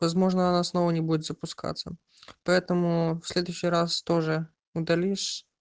возможно она снова не будет запускаться поэтому в следующий раз тоже удалишь